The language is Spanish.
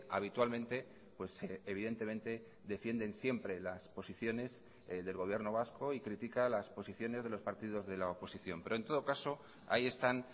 habitualmente evidentemente defienden siempre las posiciones del gobierno vasco y critica las posiciones de los partidos de la oposición pero en todo caso ahí están